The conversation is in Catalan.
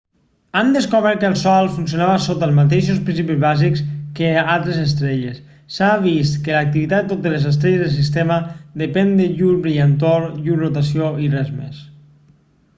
han descobert que el sol funcionava sota els mateixos principis bàsics que altres estrelles s'ha vist que l'activitat de totes les estrelles del sistema depèn de llur brillantor llur rotació i res més